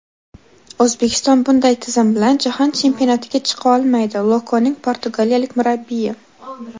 O‘zbekiston bunday tizim bilan Jahon chempionatiga chiqa olmaydi – "Loko"ning portugaliyalik murabbiyi.